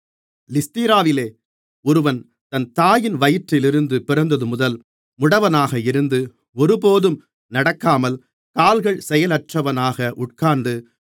லீஸ்திராவிலே ஒருவன் தன் தாயின் வயிற்றிலிருந்து பிறந்ததுமுதல் முடவனாக இருந்து ஒருபோதும் நடக்காமல் கால்கள் செயலற்றவனாக உட்கார்ந்து